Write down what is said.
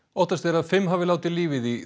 óttast er að fimm hafi látið lífið í